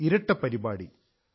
ഒരു ഇരട്ട പരിപാടി